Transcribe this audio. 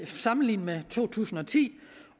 sammenlignet med to tusind og ti